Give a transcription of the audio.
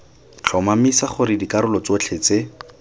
tlhomamisa gore dikarolo tsotlhe tse